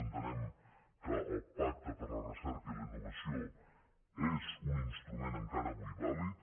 entenem que el pacte per a la recerca i la innovació és un instrument encara avui vàlid